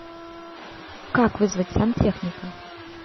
как вызвать сантехника